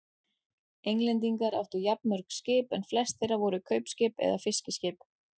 Englendingar áttu jafnmörg skip en flest þeirra voru kaupskip eða fiskiskip.